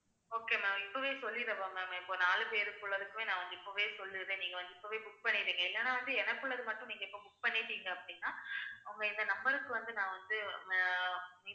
okay ma'am நான் இப்பவே சொல்லிடவா ma'am இப்ப நாலு பேருக்குள்ளதுக்குமே நான் வந்து, இப்பவே சொல்லிடுறேன். நீங்க வந்து இப்பவே book பண்ணிடுங்க இல்லன்னா வந்து எனக்கு உள்ளது மட்டும், நீங்க இப்ப book பண்ணிட்டீங்க அப்படின்னா உங்க இந்த number க்கு வந்து, நான் வந்து அஹ்